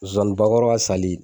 Zozani bakɔrɔ ka sali.